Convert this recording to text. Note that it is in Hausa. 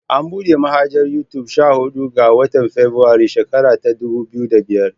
An buɗe manhajar Yutub sha huɗu ga. watan febirairun shekara ta dubu biyu da biyar.